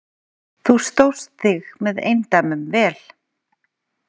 Þú stóðst þig með eindæmum vel.